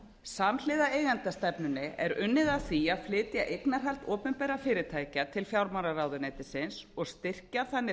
samhliða eigendastefnunni er unnið að því að flytja eignarhald opinberra fyrirtækja til fjármálaráðuneytisins og styrkja þannig